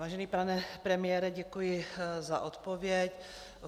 Vážený pane premiére, děkuji za odpověď.